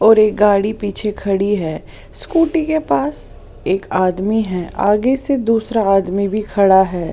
और एक गाड़ी पीछे खड़ी है स्कूटी के पास एक आदमी है आगे से दूसरा आदमी भी खड़ा है।